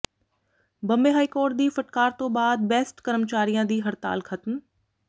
Bombay high court ਦੀ ਫਟਕਾਰ ਤੋਂ ਬਾਅਦ ਬੈਸਟ ਕਰਮਚਾਰੀਆਂ ਦੀ ਹੜਤਾਲ ਖਤਮ